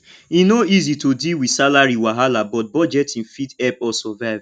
e no easy to deal with salary wahala but budgeting fit help us survive